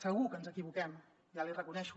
segur que ens equivoquem ja l’hi reconec